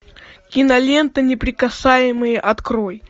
кинолента неприкасаемые открой